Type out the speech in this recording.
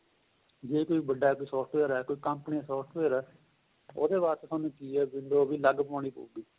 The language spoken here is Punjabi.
ਜ਼ੇ ਕੋਈ ਵੱਡਾ ਏ software ਏ ਕੋਈ ਕੰਪਨੀ software ਏ ਉਹਦੇ ਵਾਸਤੇ ਤੁਹਾਨੂੰ ਕਿ ਏ window ਵੀ ਅਲੱਗ ਪਵਾਉਣੀ ਪਹੁਗੀ